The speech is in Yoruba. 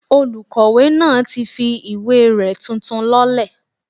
Olùkọ̀wé náà ti fi ìwé rẹ̀ tuntun lọ́lẹ̀